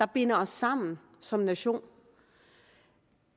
binder os sammen som nation